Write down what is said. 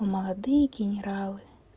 молодые генералы